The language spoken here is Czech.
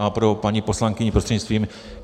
A pro paní poslankyni prostřednictvím.